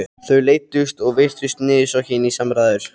Þau leiddust og virtust niðursokkin í samræður.